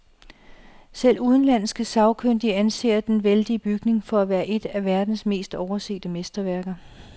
Selv udenlandske sagkyndige anser den vældige bygning for at være et af verdens mest oversete mesterværker.